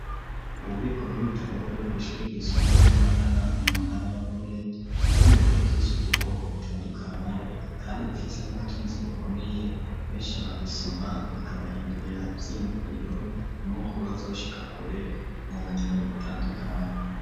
Ububiko bw'ibitabo buri kw’ishuri ryisumbuye ryi matana mu ntara ya bururi ,harimwo ibitabo vyinshi vy'ubwoko butandukanye kandi bifise n'ubutunzi bukomeye ,benshi barabisoma bikabahindurira i vyiyumviro nuko bazoshika kure mu bumenyi butandukanya.